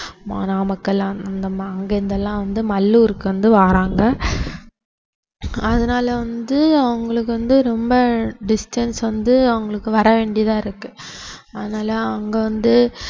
மா~ நாமக்கல் அந்தமா~ அங்கிருந்து எல்லாம் வந்து மல்லூருக்கு வந்து வர்றாங்க அதனால வந்து அவங்களுக்கு வந்து ரொம்ப distance வந்து அவங்களுக்கு வர வேண்டியதா இருக்கு அதனால அவங்க வந்து